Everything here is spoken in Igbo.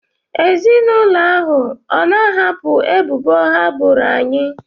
Ezinụlọ ahụ ọ na-ahapụ ebubo ha boro anyị?